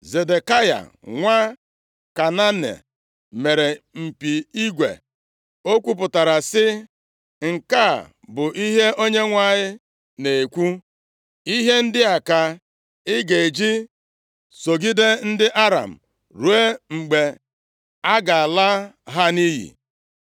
Zedekaya nwa Kenaana, mere mpi igwe, ọ kwupụtara sị, “Nke a bụ ihe Onyenwe anyị na-ekwu, ‘Ihe ndị a ka ị ga-eji sọgide ndị Aram, ruo mgbe a ga-ala ha nʼiyi.’ ”